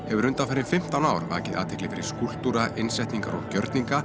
hefur undanfarin fimmtán ár vakið athygli fyrir skúlptúra innsetningar og gjörninga